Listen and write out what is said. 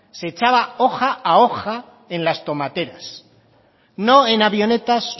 se echaba hoja a hoja en las tomateras no en avionetas